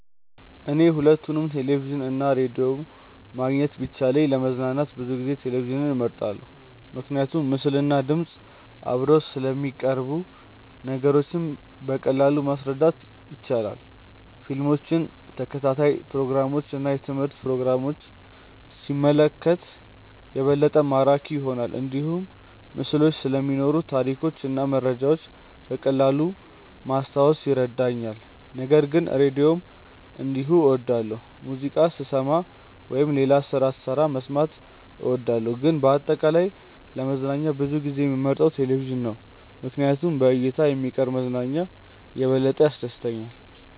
እኔ ሁለቱንም ቴሌቪዥን እና ራዲዮ ማግኘት ቢቻልም ለመዝናኛ ብዙ ጊዜ ቴሌቪዥንን እመርጣለሁ። ምክንያቱም ምስልና ድምፅ አብረው ስለሚቀርቡ ነገሮችን በቀላሉ ማረዳት ይቻላል። ፊልሞችን፣ ተከታታይ ፕሮግራሞችን እና የትምህርት ፕሮግራሞችን ሲመለከት የበለጠ ማራኪ ይሆናል። እንዲሁም ምስሎች ስለሚኖሩ ታሪኮችን እና መረጃዎችን በቀላሉ ማስታወስ ይረዳኛል። ነገር ግን ራዲዮንም እንዲሁ እወዳለሁ፣ ሙዚቃ ስሰማ ወይም ሌላ ስራ ስሰራ መስማት እወዳለሁ። ግን በአጠቃላይ ለመዝናኛ ብዙ ጊዜ የምመርጠው ቴሌቪዥን ነው ምክንያቱም በእይታ የሚቀርብ መዝናኛ የበለጠ ያስደስተኛል።